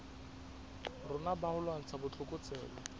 rona ba ho lwantsha botlokotsebe